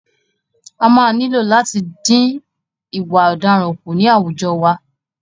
A máa nílò láti dín ìwà ọ̀daràn kù ní àwùjọ wa.